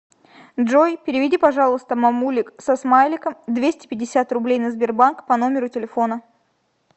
джой переведи пожалуйста мамулик со смайликом двести пятьдесят рублей на сбербанк по номеру телефона